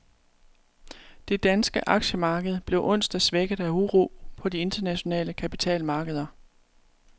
Det danske aktiemarked blev onsdag svækket af uro på de internationale kapitalmarkeder.